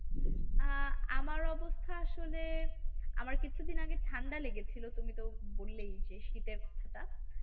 আহ আমার অবস্থা আসলে আমার কিছুদিন আগে ঠান্ডা লেগেছিলো তুমি তো বললেই যে শীতের কথাটা।